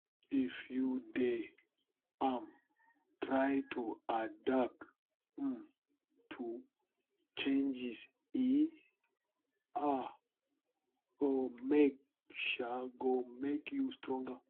if you dey um try to adapt um to changes e um go make um go make you stronger